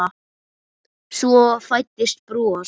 Svo fæddist bros.